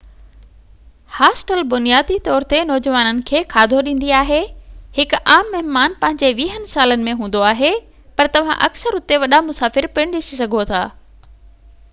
hostel بنيادي طور تي نوجوانن کي کاڌو ڏيندي آهي ـ هڪ عام مهمان پنهني ويهين سال ۾ هوندو آهي - پر توهان اڪثر اتي وڏا مسافر پڻ ڏسي سگهو ٿا